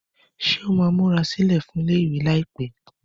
Ṣé ó máa múra sílẹ̀ fún ilé-ìwé láìpẹ́?